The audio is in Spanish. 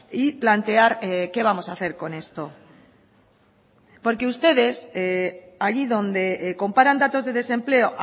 y plantear qué vamos a hacer con esto porque ustedes allí donde comparan datos de desempleo